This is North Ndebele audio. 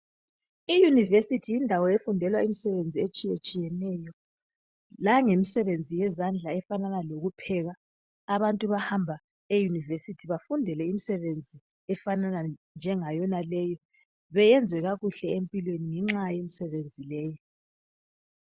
Iyunivesithi yindawo efundelwa imisebenzi etshiyetshiyeneyo langemsebenzi yezandla efanana lokupheka abantu bahamba eyunivesithi bafundele imisebenzi efanana njengayonaleyi beyenze kakuhle empilweni ngenxa yemsebenzi leyi.